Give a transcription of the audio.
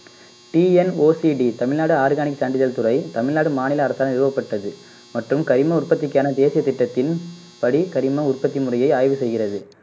டிஎன்ஓசிடி Tamil Nadu organic சான்றிதழ் துறை தமிழ்நாடு மாநில அரசால் நிறுவப்பட்டது மற்றும் கரிம உற்பத்திக்கான தேசிய திட்டத்தின்படி கரிம உற்பத்தி முறையை ஆய்வு செய்கிறது